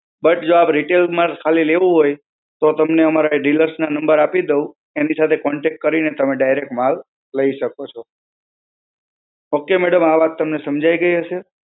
But જો આપ retail માં જ ખાલી લેવું હોય, તો તમને અમારા dealers ના number આપી દઉં, એમની સાથે contact કરીને તમે direct માલ લઈ શકો છો. okay madam, આ વાત તમને સમજાઈ ગઈ હશે?